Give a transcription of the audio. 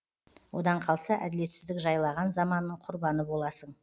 одан қалса әділетсіздік жайлаған заманның құрбаны боласың